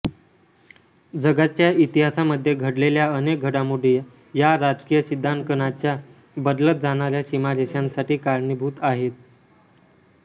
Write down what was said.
जगाच्या इतिहासामध्ये घडलेल्या अनेक घडामोडी या राजकीय सिद्धंकनाच्या बदलत जाणाऱ्या सिमारेशांसाठी कारणीभूत आहेत